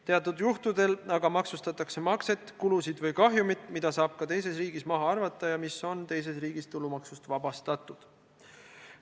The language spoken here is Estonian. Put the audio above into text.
Teatud juhtudel aga maksustatakse makset, kulusid või kahjumit, mida saab ka teises riigis maha arvata ja mis on teises riigis tulumaksust vabastatud.